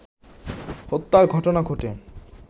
হত্যার ঘটনা ঘটে